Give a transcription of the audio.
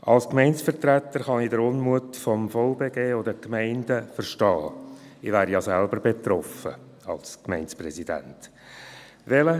Als Gemeindevertreter kann ich den Unmut des VBG und der Gemeinden verstehen, denn ich wäre als Gemeindepräsident selbst betroffen.